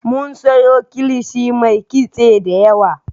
Mun siyo kilishi mai kitse da yawa